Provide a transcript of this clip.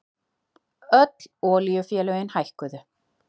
Öll olíufélögin hækkuðu